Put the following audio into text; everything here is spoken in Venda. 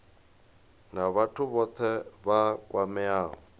na vhathu vhothe vha kwameaho